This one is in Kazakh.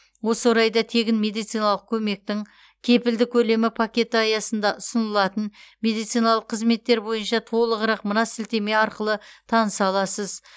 осы орайда тегін медициналық көмектің кепілді көлемі пакеті аясында ұсынылатын медициналық қызметтер бойынша толығырақ мына сілтеме арқылы таныса аласыз